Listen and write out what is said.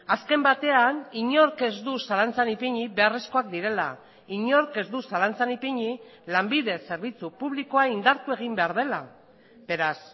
azken batean inork ez du zalantzan ipini beharrezkoak direla inork ez du zalantzan ipini lanbide zerbitzu publikoa indartu egin behar dela beraz